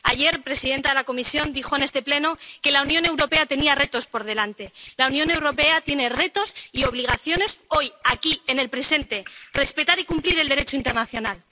Ayer, la presidenta de la Comisión dijo en este Pleno que la Unión Europea tenía retos por delante. La Unión Europea tiene retos y obligaciones hoy, aquí, en el presente respetar y cumplir el Derecho internacional.